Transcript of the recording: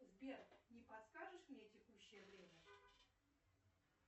сбер не подскажешь мне текущее время